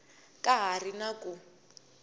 ka ha ri na ku